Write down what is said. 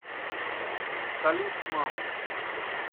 салют с мамой